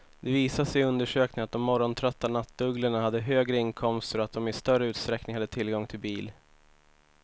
Det visade sig i undersökningen att de morgontrötta nattugglorna hade högre inkomster och att de i större utsträckning hade tillgång till bil.